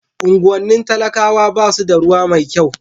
unguwannin talakawa basu da ruwa mai kyau ko